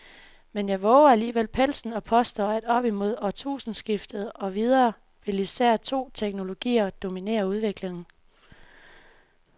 Men jeg vover alligevel pelsen og påstår, at op mod årtusindskiftet og videre vil især to teknologier dominere udviklingen.